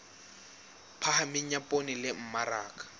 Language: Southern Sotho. phahameng ya poone le mmaraka